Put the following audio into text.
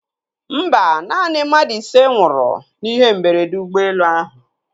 Mba, naanị mmadụ ise nwụrụ n'ihe mberede ụgbọelu ahụ.